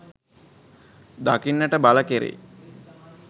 දකින්නට බල කෙරෙයි